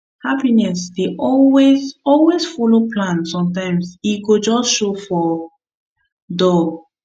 happiness no dey always always follow plan sometimes e go just show for door